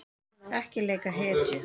Ekki leika hetju